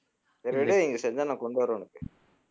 சரிவிடு இங்க செஞ்சா நான் கொண்டு வர்றேன் உனக்கு